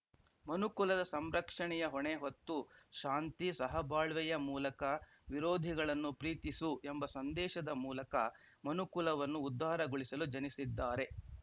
ಮನುಕುಲದ ಸಂರಕ್ಷಣೆಯ ಹೊಣೆ ಹೊತ್ತು ಶಾಂತಿ ಸಹಬಾಳ್ವೆಯ ಮೂಲಕ ವಿರೋಧಿಗಳನ್ನು ಪ್ರೀತಿಸು ಎಂಬ ಸಂದೇಶದ ಮೂಲಕ ಮನುಕುಲವನ್ನು ಉದ್ದಾರಗೊಳಿಸಲು ಜನಿಸಿದ್ದಾರೆ